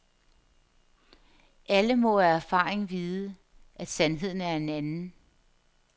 Alle må af erfaring vide, at sandheden er en anden.